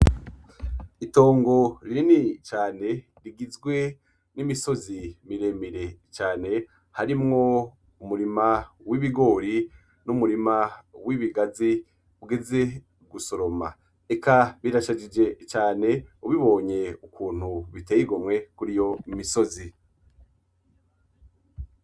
Itongo rinini cane, rigizwe n'imisozi miremire cane, harimwo umurima w'ibigori n'umurima w'ibigazi ugeze gusoroma, eka birashajije cane ubibonye ukuntu biteye igomwe kuriyo misozi.